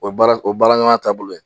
O ye baara o ye baaraɲɔgɔnya taabolo ye.